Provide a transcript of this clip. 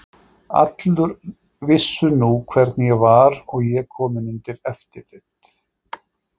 Allir vissu nú hvernig ég var og ég kominn undir eftirlit.